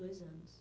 Dois anos.